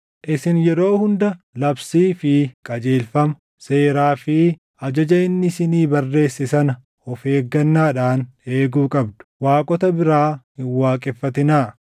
Isin yeroo hunda labsii fi qajeelfama, seeraa fi ajaja inni isinii barreesse sana of eeggannaadhaan eeguu qabdu. Waaqota biraa hin waaqeffatinaa.